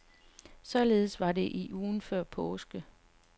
Således var det i ugen før påske.